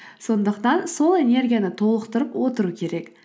сондықтан сол энергияны толықтырып отыру керек